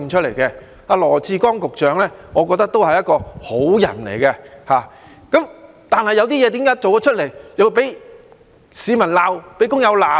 我覺得羅致光局長是一個好人，但為何他做了一些事情又會被市民、工友責備呢？